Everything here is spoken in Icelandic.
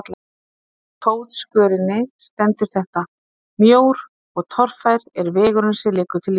Undir fótskörinni stendur þetta: Mjór og torfær er vegurinn sem liggur til lífsins.